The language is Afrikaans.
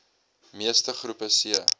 meeste groepe c